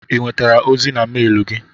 I nwetere ozi na melu gi?